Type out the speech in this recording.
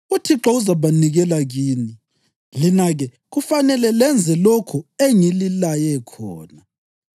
UThixo uzabanikela kini, lina-ke kufanele lenze lokho engililaye khona.